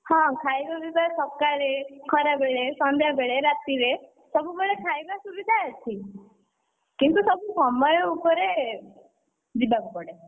ହଁ ଖାଇବା ପିଇବା ସକାଳେ, ଖରାବେଳେ, ସନ୍ଧ୍ୟାବେଳେ, ରାତିରେ ସବୁବେଳେ ଖାଇବା ସୁବିଧା ଅଛି। କିନ୍ତୁ ସବୁ ସମୟ ଉପରେ, ଯିବାକୁ ପଡେ।